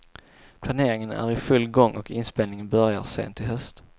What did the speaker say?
Planeringen är i full gång och inspelningen börjar sent i höst.